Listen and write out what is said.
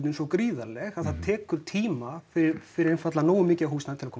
svo gríðarleg að það tekur tíma fyrir einfaldlega nógu mikið af húsnæði að koma